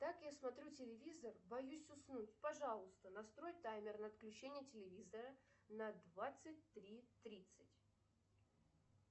так я смотрю телевизор боюсь уснуть пожалуйста настрой таймер на отключение телевизора на двадцать три тридцать